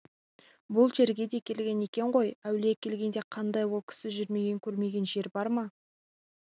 бұл жерге де келген екен ғой әулие келгенде қандай ол кісі жүрмеген көрмеген жер бар ма